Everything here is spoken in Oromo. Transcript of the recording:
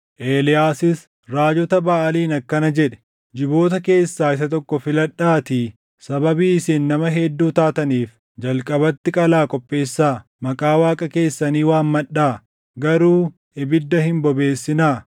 Eeliyaasis raajota Baʼaaliin akkana jedhe; “Jiboota keessaa isa tokko filadhaatii sababii isin nama hedduu taataniif jalqabatti qalaa qopheessaa. Maqaa Waaqa keessanii waammadhaa; garuu ibidda hin bobeessinaa.”